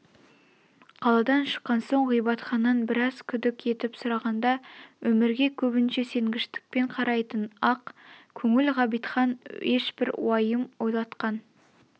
қаладан шыққан соң ғабитханнан біраз күдік етіп сұрағанда өмірге көбінше сенгіштікпен қарайтын ақ көңіл ғабитхан ешбір уайым ойлатқан